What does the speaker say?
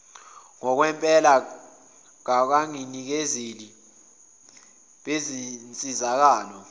ngokwempela bangabanikezeli bezinsizakalo